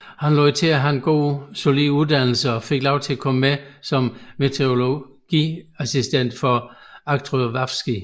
Han lod til at have en solid uddannelse og fik lov til at komme med som meteorologiassistent for Arctowski